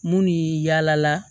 Mun ye yaala